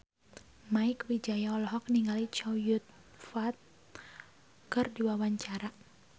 Mieke Wijaya olohok ningali Chow Yun Fat keur diwawancara